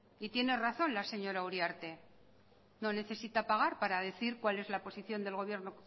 y tiene razón la señora uriarte no necesita pagar para decir cuál es la posición del gobierno